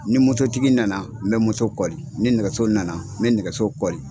Ni moto tigi nana n bɛ moto kɔli, ni nɛgɛso nana, n bɛ nɛgɛso kɔli.